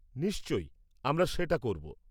নিশ্চয়ই, আমরা সেটা করব।